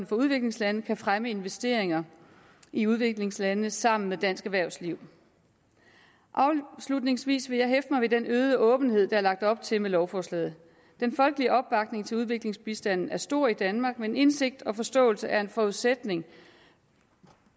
for udviklingslandene kan fremme investeringer i udviklingslandene sammen med dansk erhvervsliv afslutningsvis vil jeg hæfte mig ved den øgede åbenhed der er lagt op til med lovforslaget den folkelige opbakning til udviklingsbistanden er stor i danmark men indsigt og forståelse er en forudsætning